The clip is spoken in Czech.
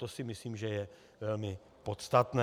To si myslím, že je velmi podstatné.